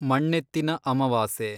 ಮಣ್ಣೆತ್ತಿನ ಅಮವಾಸೆ